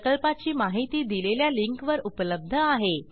प्रकल्पाची माहिती दिलेल्या लिंकवर उपलब्ध आहे